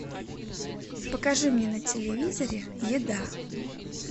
покажи мне на телевизоре еда